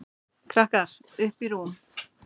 Krakkar: Uppi í rúmi.